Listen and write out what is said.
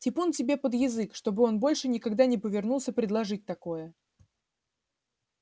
типун тебе под язык чтобы он больше никогда не повернулся предположить такое